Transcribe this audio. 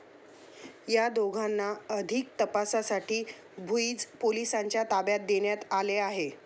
या दोघांना अधिक तपासासाठी भुईंज पोलिसांच्या ताब्यात देण्यात आले आहे.